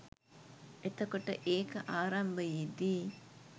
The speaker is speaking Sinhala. එතකොට ඒක ආරම්භයේදී